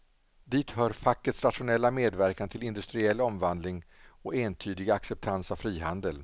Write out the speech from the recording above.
Dit hör fackets rationella medverkan till industriell omvandling och entydiga acceptans av frihandel.